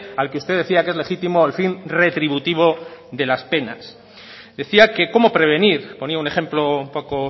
al que usted decía que es legítimo el fin retributivo de las penas decía que cómo prevenir ponía un ejemplo un poco